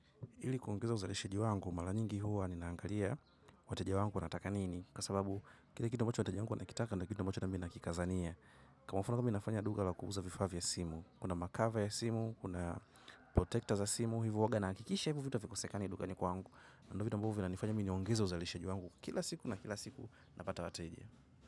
Ili kuongeza uzalishaji wangu, mara nyingi huwa ninaangalia. Wateja wangu wanataka nini kwa sababu kile kitu ambacho wateja wangu wanakitaka ni kitu ambacho nami nakikazania. Kwa mfano mi nafanya duka la kuuza vifaa vya simu. Kuna makava ya simu, kuna protector za simu. Hivo huwaga nahakikisha hivo vitu havikosekani dukani kwangu. Na ndo vitu ambavyo vinanifanya mi niongeze uzalishaji wangu kila siku na kila siku napata wateja.